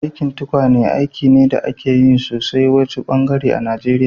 Aikin tukwane aiki ne da ake yin shi sosai a wasu ɓangarorin Najeriya